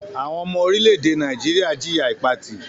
Àwọn ọmọ orílẹ̀-èdè Nàìjíríà jìya Ìpatì